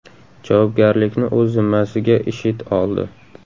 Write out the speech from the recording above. Javobgarlikni o‘z zimmasiga IShID oldi.